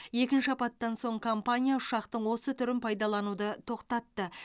екінші апаттан соң компания ұшақтың осы түрін пайдалануды тоқтатты